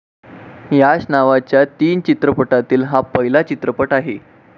याच नावाच्या तीन चित्रपटातील हा पहिला चित्रपट आहे.